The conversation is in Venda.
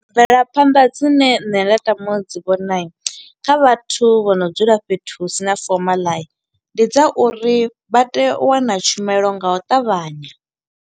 Mvelaphanḓa dzine nṋe nda tama u dzi vhona, kha vhathu vho no dzula fhethu hu sina fomaḽa, ndi dza uri vha tea u wana tshumelo nga u ṱavhanya.